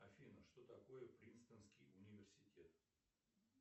афина что такое принстонский университет